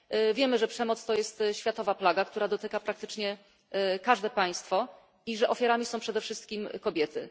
Wiemy, że przemoc to jest światowa plaga, która dotyka praktycznie każde państwo i że ofiarami są przede wszystkim kobiety.